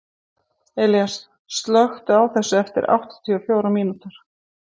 Elías, slökktu á þessu eftir áttatíu og fjórar mínútur.